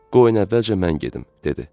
Qoyun əvvəlcə mən gedim, dedi.